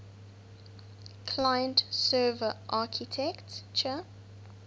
client server architecture